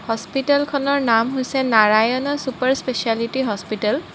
হস্পিটেলখনৰ নাম হৈছে Narayana super speciality hospital